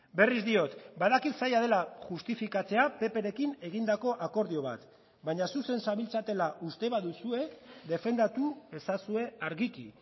berriz diot badakit zaila dela justifikatzea pprekin egindako akordio bat baina zuzen zabiltzatela uste baduzue defendatu ezazue argiki